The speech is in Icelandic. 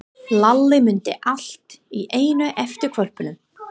Lalli mundi allt í einu eftir hvolpinum.